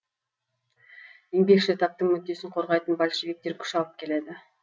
еңбекші таптың мүддесін қорғайтын большевиктер күш алып келеді